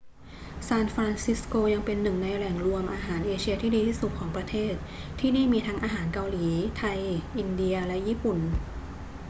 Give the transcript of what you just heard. ซานฟรานซิสโกยังเป็นหนึ่งในแหล่งรวมอาหารเอเชียที่ดีที่สุดของประเทศ ที่นี่มีทั้งอาหารเกาหลี ไทย อินเดีย และญี่ปุ่น